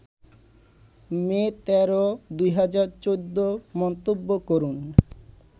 মে ১৩, ২০১৪ মন্তব্য করুন